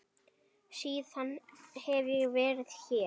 Síðan hef ég verið hér.